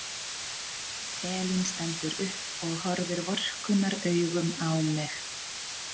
Elín stendur upp og horfir vorkunnaraugum á mig.